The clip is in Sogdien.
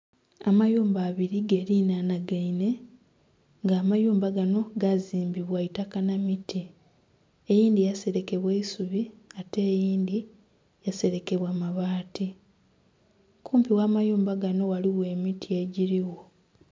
Amayumba abiri galinhanhagainhe nga amayumba gano gazimbibwa itaka n'emiti eyindhi yaserekebwa isubi ate eyindhi yaserekebwa mabaati kumpi n'amayumba gano ghaligho emiti ejirigho.